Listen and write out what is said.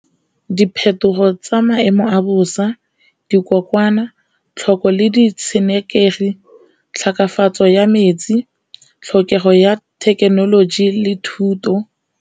Diphetogo tsa maemo a bosa, dikokwanatlhoko le di tshenekegi, tlhekefatso ya metsi, tlhokego ya thekenoloji le thuto.